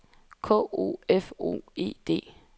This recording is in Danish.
K O F O E D